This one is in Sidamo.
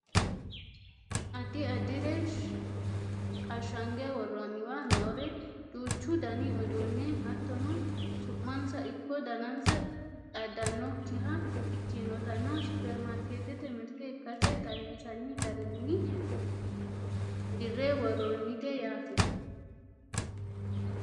Addi addire ashange worroonniwa noore duuchu dani uduunne hattono su'mansa ikko danansa xaadannokkiha ikkinotanna Supperimarkeettete mirte ikkase xawinsanni garinni dirre worroonnite yaate